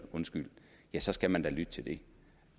ja så skal man da lytte til det